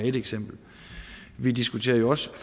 et eksempel og vi diskuterer jo også